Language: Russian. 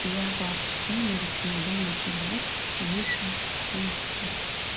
я вообще не рекомендую нагревать выше шестидесяти